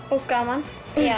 og gaman